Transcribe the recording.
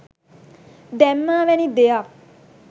දැම්මා වැනි දෙයක්.